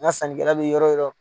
N ka sankɛla bi yɔrɔ o yɔrɔ